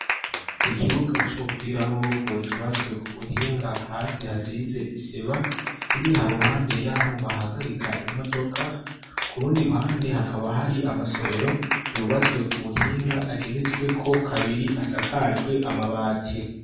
ikibuga c'umupira w'amaboko cubatswe ku buhinga hasi hasize isima kiriha ruhande yaho bahagarika imodoka kurundi ruhande hakaba hari amasomero yubatswe ku buhinga ageretsweko kabiri asakajwe amabati